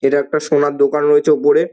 এটা একটা সোনার দোকান রয়েছে ওপরে ।